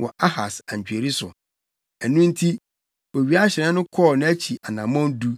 wɔ Ahas antweri so.’ ” Ɛno nti, owiahyerɛn no kɔɔ nʼakyi anammɔn du.